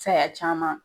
Saya caman